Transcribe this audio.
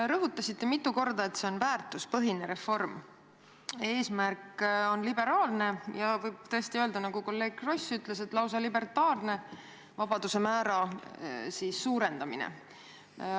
Te rõhutasite mitu korda, et see on väärtuspõhine reform, mille eesmärk on liberaalne – ja võib tõesti öelda, nagu kolleeg Kross ütles –, lausa libertaarne vabaduse määra suurendamine.